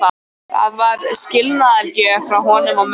Það var skilnaðargjöf frá honum og mömmu.